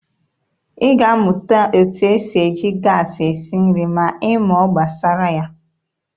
Ị ga-amụta etu esi eji gaasị esi nri ma ị mụọ gbasara ya.